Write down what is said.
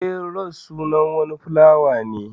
Eh, ros sunan wani filawa ne.